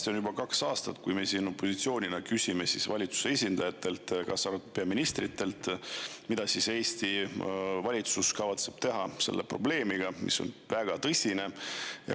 Peaaegu kaks aastat on siin opositsioon küsinud valitsuse esindajatelt, kaasa arvatud peaministritelt, mida kavatseb Eesti valitsus selle väga tõsise probleemiga.